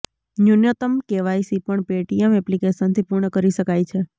ન્યૂનતમ કેવાયસી પણ પેટીએમ એપ્લિકેશનથી પૂર્ણ કરી શકાય છે